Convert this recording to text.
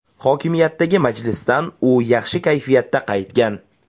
Hokimiyatdagi majlisdan u yaxshi kayfiyatda qaytgan.